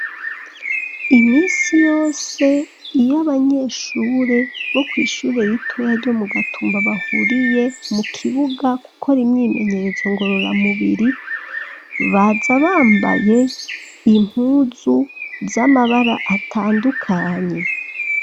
Iminsi yose, iyo abanyeshure, bo kw'ishure ritoya ryo mu Gatumba, bahuriye mu kibuga, gukora imyimenyerezo ngororamubiri, baza bambaye impuzu, z'amabara atandukanye.